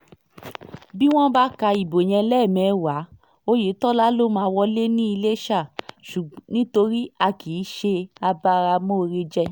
bí wọ́n bá ka ìbò yẹn lẹ́ẹ̀mẹ́wàá ọ̀yẹ̀tọ́lá ló máa wọlé ní iléṣà nítorí a kì í ṣe abáramọ̀ọ́rẹ̀jẹ̀